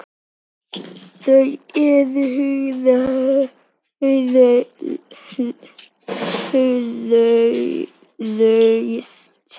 Þau eru hraust